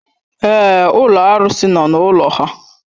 Èé, ụlọ arụsị nọ n'ụlọ ha.